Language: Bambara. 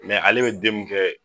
Mɛ ale bɛ den mun kɛ